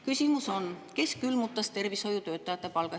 Küsimus on: kes külmutas tervishoiutöötajate palga?